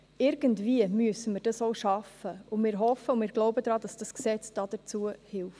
Irgendwie müssen wir dies schaffen, und wir hoffen und wir glauben daran, dass dieses Gesetz dafür hilft.